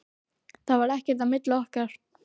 Það var ekkert á milli okkar.